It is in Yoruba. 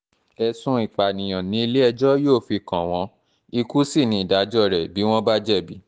ẹ̀sùn ìpànìyàn ni ilé-ẹjọ́ yóò fi kàn wọ́n ikú sí ní ìdájọ́ rẹ bí wọ́n bá jẹ̀bi